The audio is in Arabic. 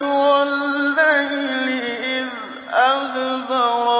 وَاللَّيْلِ إِذْ أَدْبَرَ